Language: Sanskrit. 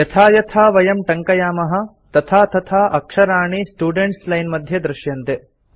यथा यथा वयं टङ्कयामः तथा तथा अक्षराणि स्टुडेन्ट्स् लाइन् मध्ये दृश्यन्ते